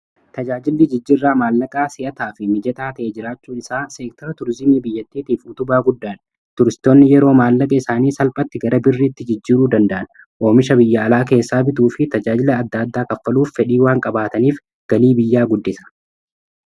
tajaajilli jijjirraa maallaqaa si'ataa fi mijataa ta'ee jiraachuu isaa seektara turzimii biyyattiitiif utubaa guddaan tuuristoonni yeroo maallaqa isaanii salphatti gara birriitti jijjiruu danda'an oomisha biyya alaa keessaa bituu fi tajaajilla adda-addaa kaffaluuf fedhii waan qabaataniif galii biyyaa guddisa